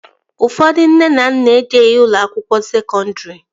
Ụfọdụ nne na nna ejeghi ụlọ akwụkwọ sekọndri